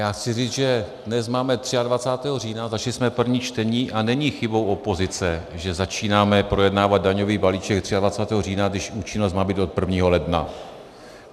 Já chci říct, že dnes máme 23. října, začali jsme první čtení a není chybou opozice, že začínáme projednávat daňový balíček 23. října, když účinnost má být od 1. ledna.